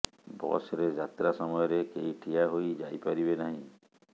bus ରେ ଯାତ୍ରା ସମୟରେ କେହି ଠିଆ ହୋଇ ଯାଇପାରିବେ ନାହିଁ